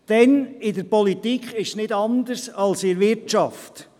Denn in der Politik ist es nicht anders als in der Wirtschaft: